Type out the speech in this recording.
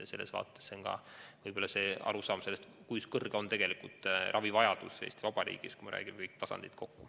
See võib-olla aitab aru saada sellest, kui suur on tegelikult ravivajadus Eesti Vabariigis, kui me võtame kõik tasandid kokku.